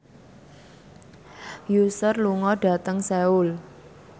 Usher lunga dhateng Seoul